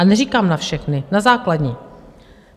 A neříkám na všechny, na základní.